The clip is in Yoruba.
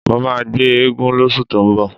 Mó máa gbé eégún lóṣù tó ń bọ̀.